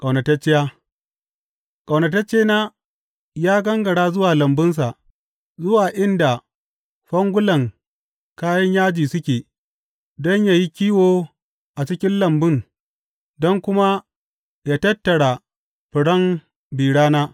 Ƙaunatacciya Ƙaunataccena ya gangara zuwa lambunsa, zuwa inda fangulan kayan yaji suke, don yă yi kiwo a cikin lambun don kuma yă tattara furen bi rana.